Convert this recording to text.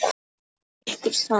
Væri ykkur sama?